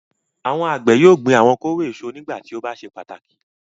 Àwọn àgbẹ̀ yóò gbin àwọn kóró èso nígbà tí ó bá ṣe pàtàkì.